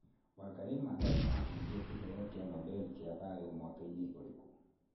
Wangari Maathai aacindire Kĩheo kĩa Nobel kĩa Thayũ mwaka-inĩ ũrĩkũ?